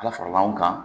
Ala faral'anw kan